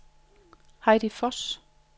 Heidi Voss